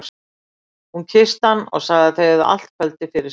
Hún kyssti hann og sagði að þau hefðu allt kvöldið fyrir sér.